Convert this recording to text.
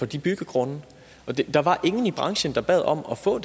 de byggegrunde der var ingen i branchen der bad om at få